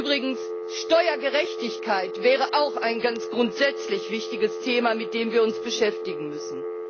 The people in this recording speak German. Übrigens, Steuergerechtigkeit wäre auch ein ganz grundsätzlich wichtiges Thema, mit dem wir uns beschäftigen müssen.